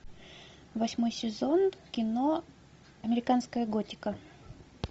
восьмой сезон кино американская готика